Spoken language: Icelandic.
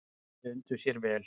Þau undu sér vel.